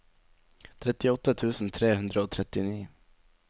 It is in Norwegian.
trettiåtte tusen tre hundre og trettini